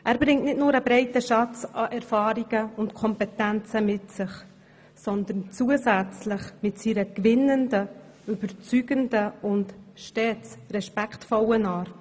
Er bringt nicht nur einen breiten Schatz an Erfahrungen und Kompetenzen mit, sondern zusätzlich auch beste Voraussetzungen mit seiner gewinnenden, überzeugenden und stets respektvollen Art.